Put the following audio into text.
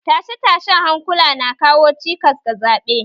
Tashe-tashen hankula na kawo cikas ga zaɓe